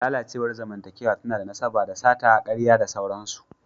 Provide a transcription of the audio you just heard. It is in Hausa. Lalacewar zamantakewa tana da nasaba da sata, karya da sauransu.